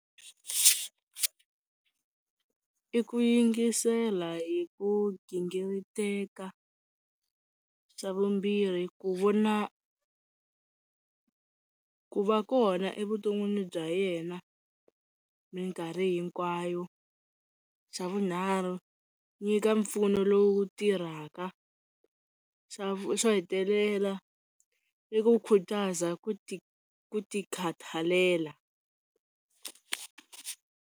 I ku yingisela hi ku gingiriteka, xa vumbirhi ku vona ku va kona evuton'wini bya yena minkarhi hinkwayo, xa vunharhu nyika mpfuno lowu tirhaka, xa xo hetelela i ku khutaza ku ti ku ti khathalela.